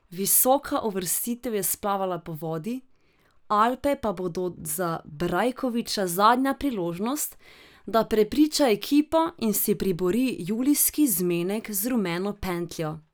Visoka uvrstitev je splavala po vodi, Alpe pa bodo za Brajkoviča zadnja priložnost, da prepriča ekipo in si pribori julijski zmenek z rumeno pentljo.